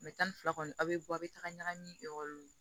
tan ni fila kɔni a bɛ bɔ aw bɛ taga ɲagami